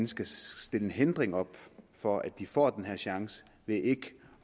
skal sætte en hindring op for at de får den chance ved ikke